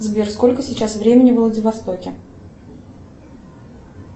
сбер сколько сейчас времени во владивостоке